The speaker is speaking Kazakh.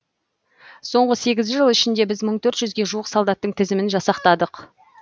соңғы сегіз жыл ішінде біз мың төрт жүзге жуық солдаттың тізімін жасақтадық